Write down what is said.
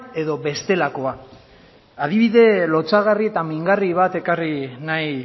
edo bestelakoa adibide lotsagarri eta mingarri bat ekarrik nahi